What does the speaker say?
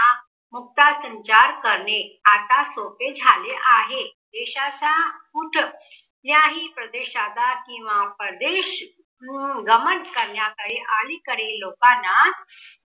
मुक्त संचार करणे आत्ता सोपे झाले आहे. देशाचा कुठ कुठल्याही प्रदेशाचा किंवा परदेश अं गमन करण्याचा आणि कडे लोकांना